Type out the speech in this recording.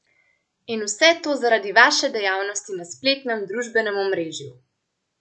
In vse to zaradi vaše dejavnosti na spletnem družbenem omrežju!